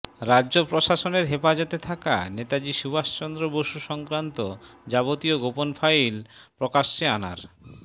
রাজ্য প্রশাসনের হেফাজতে থাকা নেতাজি সুভাষচন্দ্র বসু সংক্রান্ত যাবতীয় গোপন ফাইল প্রকাশ্যে আনার